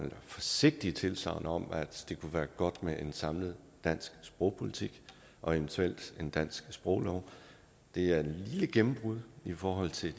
forsigtige tilsagn om at det kunne være godt med en samlet dansk sprogpolitik og eventuelt en dansk sproglov det er et lille gennembrud i forhold til